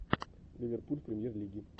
ливерпуль в премьер лиге